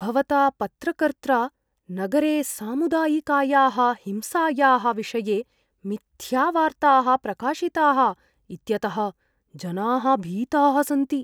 भवता पत्रकर्त्रा नगरे सामुदायिकायाः हिंसायाः विषये मिथ्यावार्ताः प्रकाशिताः इत्यतः जनाः भीताः सन्ति।